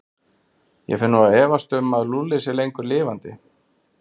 Ég fer nú að efast um að Lúlli sé lengur lifandi.